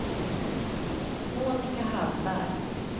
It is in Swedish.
Monika Hallberg